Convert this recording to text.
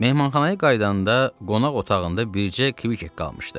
Mehmanxanaya qayıdanda qonaq otağında bircə Kvikek qalmışdı.